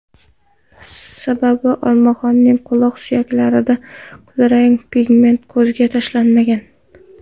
Sababi olmaxonning quloq suyaklarida kulrang pigment ko‘zga tashlanmagan.